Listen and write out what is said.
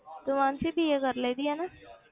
ਤੂੰ ਮਾਨਸੀ BA ਕਰ ਲਈ ਦੀ ਆ ਨਾ?